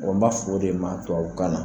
n b'a fɔ de maa tubabu kan na